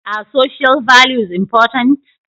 Are social values ​​important?